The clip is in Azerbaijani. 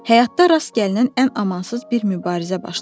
Həyatda rast gəlinən ən amansız bir mübarizə başladı.